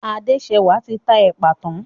Adéṣẹwà ti ta èpà tán.